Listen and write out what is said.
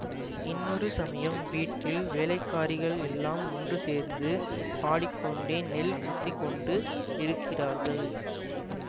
இன்னொரு சமயம் வீட்டில் வேலைக்காரிகள் எல்லாம் ஒன்று சேர்ந்து பாடிக்கொண்டே நெல் குத்தி கொண்டு இருக்கிறார்கள்